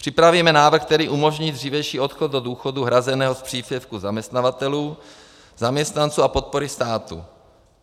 Připravíme návrh, který umožní dřívější odchod do důchodu hrazeného z příspěvku zaměstnavatelů, zaměstnanců a podpory státu.